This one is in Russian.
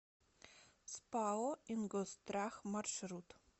спао ингосстрах маршрут